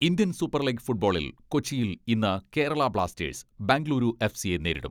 Indian super league ഫുട്ബോളിൽ കൊച്ചിയിൽ ഇന്ന് കേരള ബ്ലാസ്റ്റേഴ്സ് ബെങ്കളൂരു എഫ്സിയെ നേരിടും